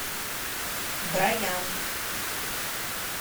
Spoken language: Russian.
броян